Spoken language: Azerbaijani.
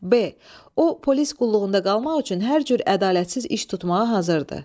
B. O polis qulluğunda qalmaq üçün hər cür ədalətsiz iş tutmağa hazırdır.